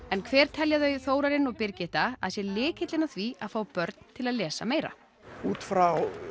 en hver telja þau Þórarinn og Birgitta sé lykillinn að því að fá börn til að lesa meira út frá